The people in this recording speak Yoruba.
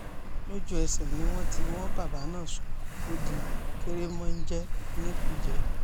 lójú-ẹsẹ̀ ni wọ́n tì wọ́n bàbà náà sóko ó di kèrémónjẹ ní kújẹ́